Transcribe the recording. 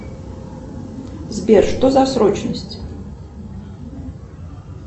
сбер что за срочность